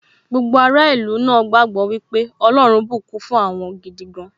Gbogbo ará ìlú náà gbagbọ wípé ọlọ́run bùkún fún wọn gidi gan